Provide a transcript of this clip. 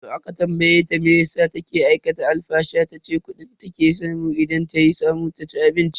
Da aka tambaye ta meyasa take aikata alfasha tace kudi take samu idan tayi ta samu ta ci abinci.